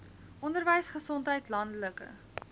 onderwys gesondheid landelike